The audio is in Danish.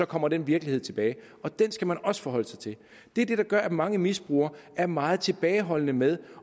kommer den virkelighed tilbage og den skal man også forholde sig til det er det der gør at mange misbrugere er meget tilbageholdende med